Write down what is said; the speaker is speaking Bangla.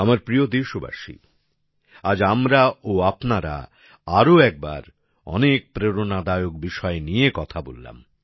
আমার প্রিয় দেশবাসী আজ আমরা ও আপনারা আরো একবার অনেক প্রেরণাদায়ক বিষয় নিয়ে কথা বললাম